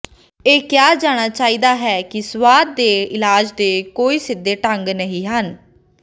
ਇਹ ਕਿਹਾ ਜਾਣਾ ਚਾਹੀਦਾ ਹੈ ਕਿ ਸਵਾਦ ਦੇ ਇਲਾਜ ਦੇ ਕੋਈ ਸਿੱਧੇ ਢੰਗ ਨਹੀਂ ਹਨ